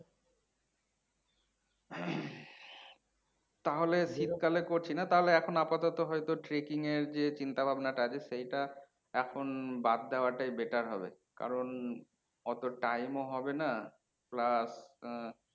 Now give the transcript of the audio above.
তাহলে শীতকালে করছিনা, তাহলে এখন আপাতত হয়তো trekking এ নিয়ে ছিন্তা ভাবনা টা আগে সেইটা এখন বাদ দেওয়াটাই better হবে কারণ অতো time ও হবেনা plus আহ